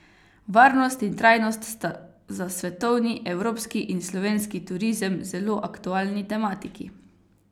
Varnost in trajnost sta za svetovni, evropski in slovenski turizem zelo aktualni tematiki.